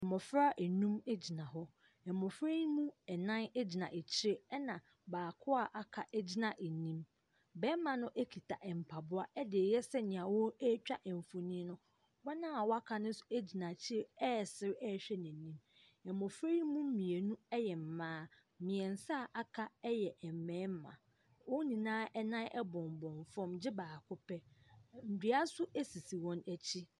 Mmɔfra nnum gyina hɔ. mmɔfra yi mu nnan gyina akyire ɛna baako a aka no gyina anim barima no kuta mpaboa de reyɛ sɛ sɛdeɛ ɔretwa mfonin no. wɔn a wɔaka no nso gyina akyire resere rehwɛ n’anim. Mmɔfra yi mu mmienu yɛ mmaa, mminsa a aka yɛ mmarima . wɔn nyinaa nan bombom fam gye baako pɛ. dua nso sisi wɔn akyi.